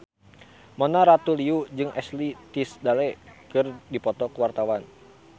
Mona Ratuliu jeung Ashley Tisdale keur dipoto ku wartawan